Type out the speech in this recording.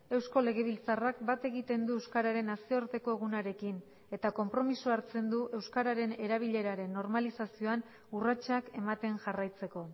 eusko legebiltzarrak bat egiten du euskararen nazioarteko egunarekin eta konpromisoa hartzen du euskararen erabileraren normalizazioan urratsak ematen jarraitzeko